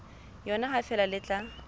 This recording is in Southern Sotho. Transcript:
yona ha feela le tla